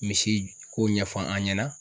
Misi ko ɲɛfɔ an ɲɛna.